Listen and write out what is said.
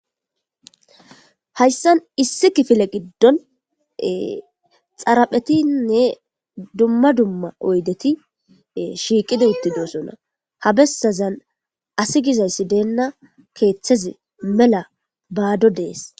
Hayisani issi kifile gidoni xariphetine duma duma oyideti shiqidi tutidosona habesazani asegizazi dena kethazi mela badodes